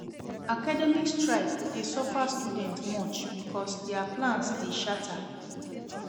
Academic strike dey suffer students much because dia plans dey shatter.